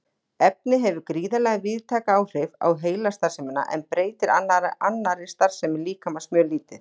Efnið hefur gríðarlega víðtæk áhrif á heilastarfsemina en breytir annarri starfsemi líkamans mjög lítið.